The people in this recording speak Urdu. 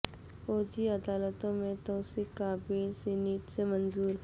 فوجی عدالتوں میں توسیع کا بل سینیٹ سے منظور